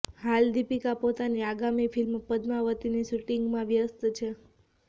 હાલ દીપિકા પોતાની આગામી ફિલ્મ પદ્માવતીની શૂટિંગમાં વ્યસ્ત છે